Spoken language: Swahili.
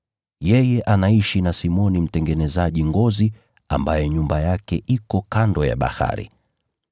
Yeye anaishi na Simoni mtengenezaji ngozi ambaye nyumba yake iko kando ya bahari.”